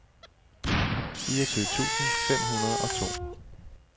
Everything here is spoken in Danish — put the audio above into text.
fireogtyve tusind fem hundrede og to